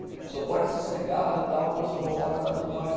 O senhor pode ir sossegado e tal, quando o senhor voltar vai estar tudo em ordem.